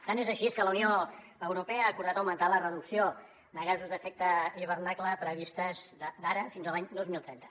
tant és així que la unió europea ha acordat augmentar la reducció de gasos amb efecte d’hivernacle prevista des d’ara fins a l’any dos mil trenta